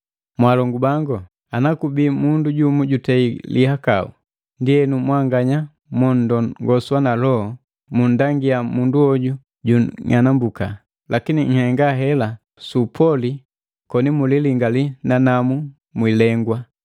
Mwaalongu bangu, ana kubii mundu jumu jutei lihakau, ndienu, mwanganya monndongoswa na Loho munndangia mundu hoju jung'anambuka, lakini nhenga hela su upoli mkililingaliya nanamu mwiilengwa.